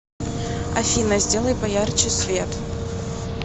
афина сделай поярче свет